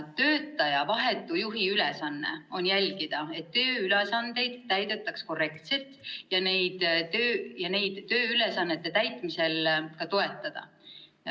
Töötaja vahetu juhi ülesanne on jälgida, et tööülesandeid täidetaks korrektselt, samuti töötajat tööülesannete täitmisel toetada.